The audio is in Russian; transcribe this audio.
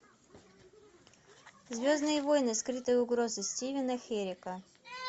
звездные войны скрытая угроза стивена херека